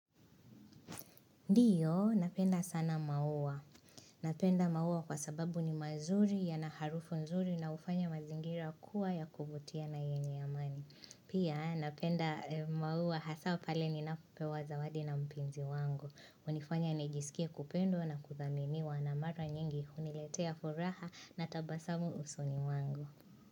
Ndiyo, napenda sana maua. Napenda maua kwa sababu ni mazuri ya na harufu nzuri na ufanya mazingira kuwa ya kuvutia na yenye amani. Pia, napenda maua hasa pale ni napopewa zawadi na mpenzi wangu. Unanifanya nijisikia kupendwa na kuthaminiwa na mara nyingi huniletea furaha na tabasamu usoni mwangu.